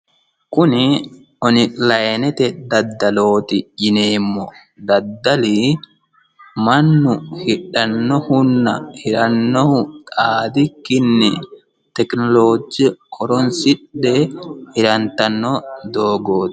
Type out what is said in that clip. kuni onlinete daddalooti yineemmo daddali mannu hidhannohunna hirannohu xaadikkinni tekinoloje horonsidhe hirantanno dooogooti.